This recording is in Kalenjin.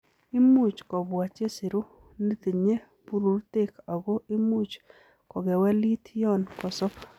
Imuch kobwa chesiru netinye bururtek ako imuch kokewelit yon kosob.